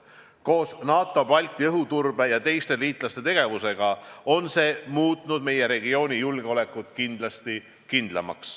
Koos NATO Balti õhuturbe ja teiste liitlaste tegevustega on see meie regiooni julgeoleku kindlamaks muutnud.